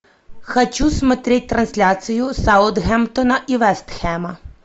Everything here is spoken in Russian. хочу смотреть трансляцию саутгемптона и вест хэма